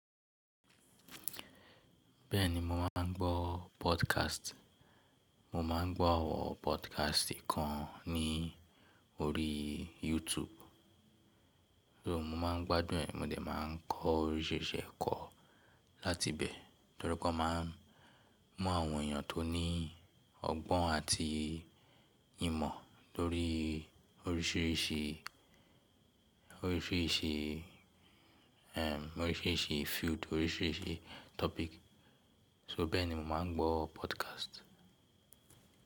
Bẹ́ẹ̀ni mo máa ń gbọ́ podcast. Mo máa ń gbọ́ àwọn podcast kan ní orí YouTube. So mo máa ń gbádùn ẹ̀, mo dẹ̀ máa ń kọ oríṣìíríṣìí ẹ̀kọ láti ibẹ̀ torí pé wọ́n máa ń mú àwọn èèyàn tó ní ọgbọ́n àti ìmọ̀ lórí oríṣìíríṣìí, oríṣìíríṣìí, oríṣìíríṣìí field, oríṣìíríṣìí topic. So bẹ́ẹ̀ ni mo máa ń gbọ́ podcast.